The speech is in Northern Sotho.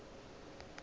a ka no ba a